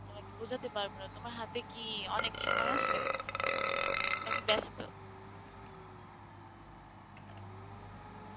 তোমাকে বোঝাতে পারবো না তোমার হাতে কি অনেক সময় আছে, নাকি বেস্ত?